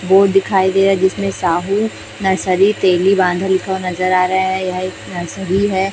Board दिखाई दे रहा है जिसमें साहू नर्सरी तेलीबांधाल लिखा नजर आ रहा है यह एक नर्सरी है।